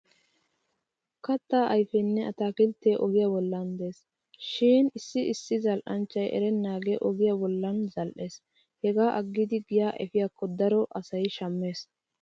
Kattaa ayfenne ataakilttee ogiya bollan de'es. Shin issi issi zal'anchchay erennaagee ogiyaa bolli zal'es heggaa aggidi giyaa efikko daro asay shammees.